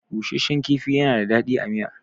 Bushashshan kifi yana da daɗi a miya.